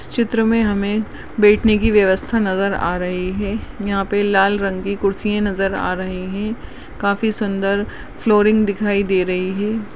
इस चित्र मे हमे बैठने की व्यवस्था नजर आ रही है यहाँ पे लाल रंग की कुर्सिए नजर आ रही है काफी सुंदर फ्लोरिंग दिखाई दे रही है।